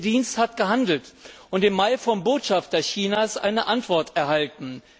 Der Dienst hat gehandelt und im Mai vom Botschafter Chinas eine Antwort erhalten.